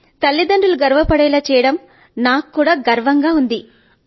తల్లితండ్రులు గర్వపడేటట్టు చేయడం స్వయం గా నాకూ గర్వం గానే ఉంది